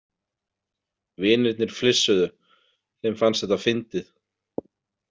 Vinirnir flissuðu, þeim fannst þetta fyndið.